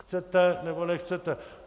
Chcete, nebo nechcete.